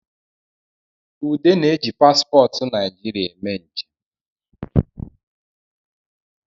Ude na-eji paspọtụ naijiria meme nje